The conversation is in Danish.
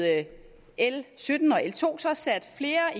l sytten og l to sat flere